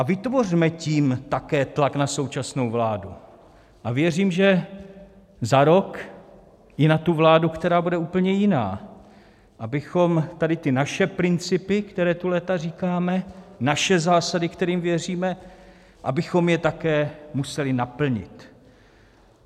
A vytvořme tím také tlak na současnou vládu, a věřím, že za rok i na tu vládu, která bude úplně jiná, abychom tady ty naše principy, které tu léta říkáme, naše zásady, kterým věříme, abychom je také museli naplnit.